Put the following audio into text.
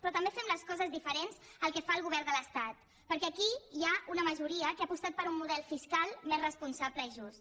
però també fem les coses diferents del que fa el govern de l’estat perquè aquí hi ha una majoria que ha apostat per un model fiscal més responsable i just